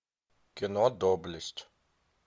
кино доблесть